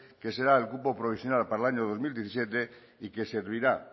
que será el cupo provisional para el año dos mil diecisiete y que servirá